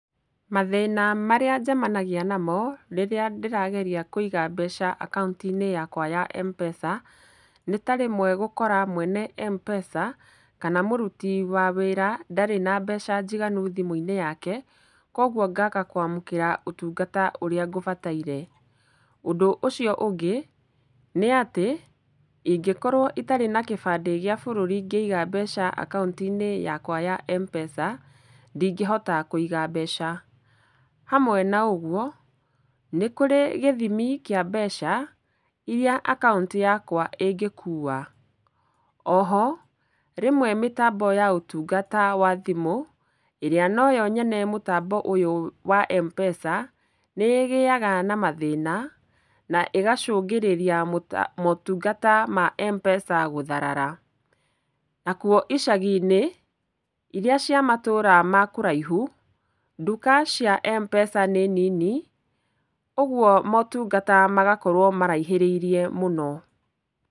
Mathĩna marĩa njemanagia namo rĩrĩa ndĩrageria kũiga mbeca akaunti-inĩ yakwa ya mpesa, nĩ ta rĩmwe gũkora mwene mpesa kana mũruti wa wĩra ndarĩ na mbeca njiganu thimũ-inĩ yake, kwogwo ngaga kwamũkĩra ũtungata ũrĩa ngũbataire. Ũndũ ũcio ũngĩ nĩatĩ ingĩkorwo itarĩ na kĩbandĩ gĩa bũrũri ngĩiga mbeca akaunti-inĩ yakwa ya mpesa, ndingĩhota kũiga mbeca. Hamwe na ũgwo nĩkũrĩ gĩthimi kĩa mbeca iria akaunti yakwa ĩngĩkua. Oho, rĩmwe mĩtambo ya ũtungata wa thimũ, ĩrĩa noyo nyene mũtambo ũyũ wa mpesa, nĩ ĩgĩaga na mathĩna na ĩgacũngĩrĩria mũta, motungata ma mpesa gũtharara. Nakwo icagi-inĩ, iria cia matũũra ma kũraihu nduka cia mpesa nĩ nini, ũgwo motungata magakorwo maraihĩrĩirie mũno.